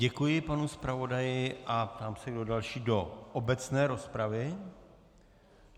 Děkuji panu zpravodaji a ptám se, kdo další do obecné rozpravy.